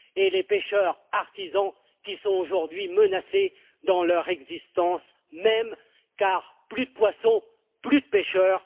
Les pêcheurs artisans, qui sont aujourd'hui menacés dans leur existence même, car plus de poissons, plus de pêcheurs